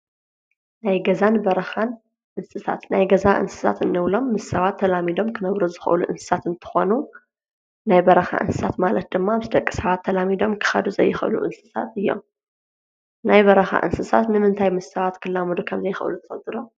ናይ ገዛን በራኻን እንስሳት ናይ ገዛ እንስሳት እንብሎም ምስ ሰባት ተላሚዶም ክነብሮ ዝኸእሉ እንሳት እንተኾኑ ናይ በራኻ እንስሳት ማለት ድማ ምስ ደቂ ሰባት ተላሚዶም ክኻዱ ዘይኸብሉ እንስሳት እዮም። ናይ በራኻ እንስሳት ንምንታይ ምስ ሰባት ክላሙዶ ኸም ዘይኸእሉ ትፍልጥዶ?